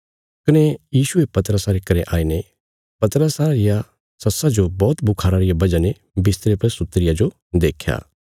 कने यीशुये पतरसा रे घरें आईने पतरसा रिया सस्सा जो बौहत बुखारा रिया वजह ने बिस्तरे पर सुत्ती रिया जो देख्या